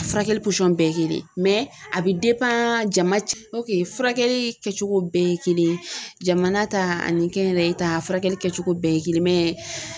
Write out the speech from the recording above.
A furakɛli bɛɛ ye kelen ye mɛ a bɛ jama furakɛli kɛcogo bɛɛ ye kelen ye jamana ta ani kɛnyɛrɛye ta furakɛli kɛcogo bɛɛ ye kelen mɛ